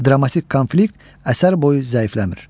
Dramatik konflikt əsər boyu zəifləmir.